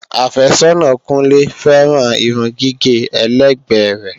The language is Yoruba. Àfẹ́sọ́nà Kúnlé féràn Irun gígé ẹlẹ́gbẹ́ rẹ.